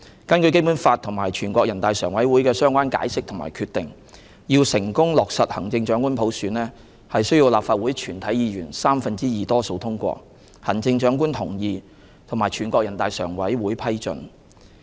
根據《基本法》及全國人大常委會的相關解釋和決定，要成功落實行政長官普選，需要立法會全體議員三分之二多數通過、行政長官同意，以及全國人大常委會批准。